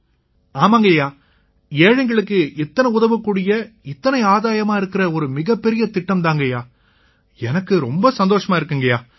ஆமாங்கய்யா ஏழைங்களுக்கு இத்தனை உதவக்கூடிய இத்தனை ஆதாயமா இருக்கற இது மிகப்பெரிய திட்டம் தாங்கய்யா எனக்கு ரொம்ப சந்தோஷமா இருக்குங்கய்யா